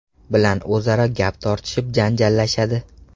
bilan o‘zaro gap tortishib, janjallashadi.